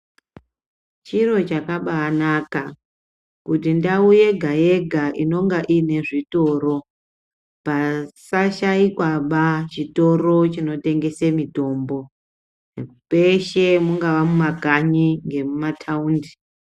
Chiro chakabanaka kuti ndau yega yega inonga inezvitoro pasashaikwaba chitoro chinotengese mitombo peshe mungava mumakanyi ngemuma taundi.